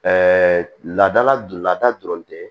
laadala don lada dɔrɔn tɛ